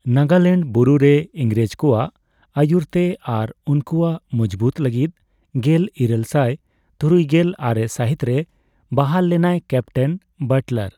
ᱱᱟᱜᱟᱞᱮᱱᱰ ᱵᱩᱨᱩ ᱨᱮ ᱤᱝᱨᱮᱡ ᱠᱚᱣᱟᱜ ᱟᱭᱩᱨ ᱛᱮ ᱟᱨ ᱩᱱᱠᱩᱣᱟᱜ ᱢᱩᱡᱵᱩᱫ ᱞᱟᱹᱜᱤᱛ ᱜᱮᱞ ᱤᱨᱟᱹᱞ ᱥᱟᱭ ᱛᱩᱨᱩᱭᱜᱮᱞ ᱟᱨᱮ ᱥᱟᱹᱦᱤᱛ ᱨᱮ ᱵᱟᱦᱟᱞ ᱞᱮᱱᱟᱭ ᱠᱮᱯᱴᱮᱱ ᱵᱟᱴᱞᱟᱨ ᱾